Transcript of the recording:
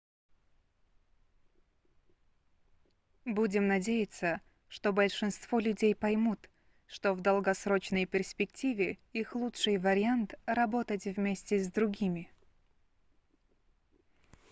будем надеяться что большинство людей поймут что в долгосрочной перспективе их лучший вариант работать вместе с другими